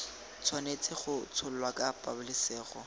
tshwanetse go tsholwa ka pabalesego